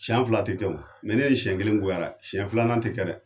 Siɲɛ fila tɛ kɛ o, mɛ n'e ye siɲɛn kelen goya a la, siɲɛ filanan tɛ kɛ dɛ!